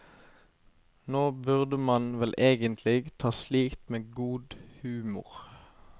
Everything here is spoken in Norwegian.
Nå burde man vel egentlig ta slikt med god humor.